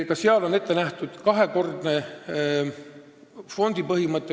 Ka seal kehtib nn kahekordne fondi põhimõte.